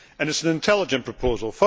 It is an intelligent proposal.